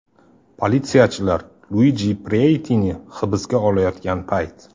Politsiyachilar Luidji Preitini hibsga olayotgan payt.